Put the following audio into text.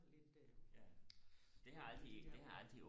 og lidt de der ord